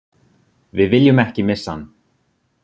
Við viljum ekki missa hann